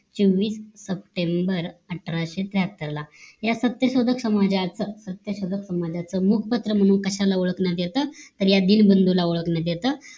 सव्वीस सप्टेंबर अठराशे त्र्यत्तर ला या सत्यशोधक समाजाचं प्रमुख पात्र म्हणून कशाला ओळखण्यात येत तर या दिनबंधूला ओळखला येत